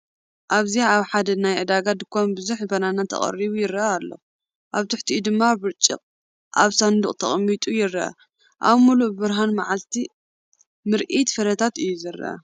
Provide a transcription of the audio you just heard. ኣብዚ ኣብ ሓደ ናይ ዕዳጋ ድኳን ቡዝሕ ባናና ተቐሪቡ ይረአ ኣሎ፣ ኣብ ትሕቲኡ ድማ ብርጭቅ ኣብ ሳንዱቕ ተቐሚጡ ይረአ። ኣብ ምሉእ ብርሃን መዓልቲ ምርኢት ፍረታት እዩ ዝረአ እዩ።